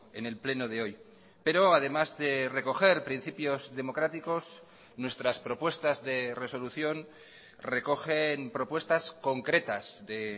en el pleno de hoy pero además de recoger principios democráticos nuestras propuestas de resolución recogen propuestas concretas de